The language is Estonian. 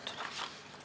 Suur aitäh ettekandjale!